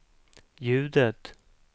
ljudet